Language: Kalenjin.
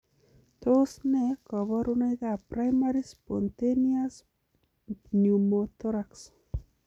Tos nee koborunokab Primary spontaneous pneumothorax?